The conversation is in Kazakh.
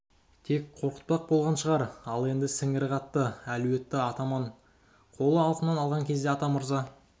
тек қорқытпақ болған шығар ал енді сіңірі қатты әлуетті атаман қолы алқымынан алған кезде атамырза